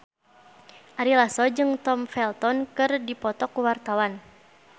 Ari Lasso jeung Tom Felton keur dipoto ku wartawan